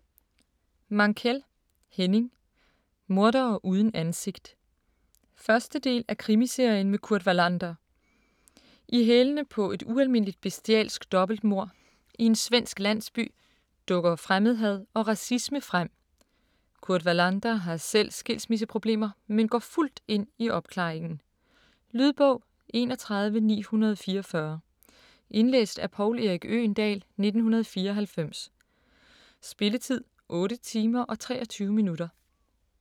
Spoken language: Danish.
Mankell, Henning: Mordere uden ansigt 1. del af Krimiserien med Kurt Wallander. I hælene på et ualmindeligt bestialsk dobbeltmord i en svensk landsby dukker fremmedhad og racisme frem. Kurt Wallander har selv skilsmisseproblemer, men går fuldt ind i opklaringen. Lydbog 31944 Indlæst af Poul Erik Øgendahl, 1994. Spilletid: 8 timer, 23 minutter.